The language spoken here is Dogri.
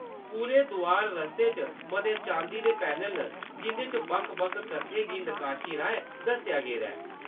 पूरे दोआर-रस्ते च मते चांदी दे पैनल न जिंʼदे पर बक्ख-बक्ख कत्थें गी नकाशी राहें दस्सेआ गेदा ऐ।